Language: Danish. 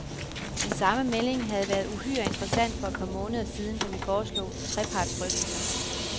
Den samme melding havde været uhyre interessant for et par måneder siden, da vi foreslog trepartsdrøftelser.